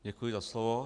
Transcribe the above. Děkuji za slovo.